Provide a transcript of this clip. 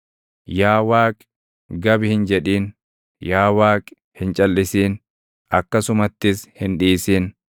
Yaa Waaqi gab hin jedhin; yaa Waaqi, hin calʼisin; akkasumattis hin dhiisin.